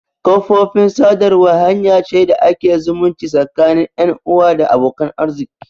Kafofin sadarwa hanya ce da ake zumunci tsakanin 'yan uwa da abokan arziki.